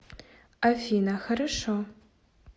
афина хорошо